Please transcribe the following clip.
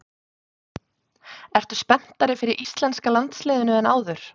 Ertu spenntari fyrir íslenska landsliðinu en áður?